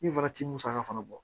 Min fana ti musaka fana bɔ